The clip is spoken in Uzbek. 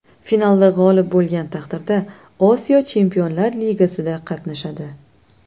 Finalda g‘olib bo‘lgan taqdirda Osiyo Chempionlar ligasida qatnashadi.